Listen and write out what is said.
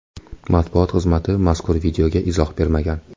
Matbuot xizmati mazkur videoga izoh bermagan.